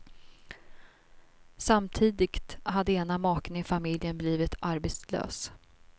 Samtidigt hade ena maken i familjen blivit arbetslös.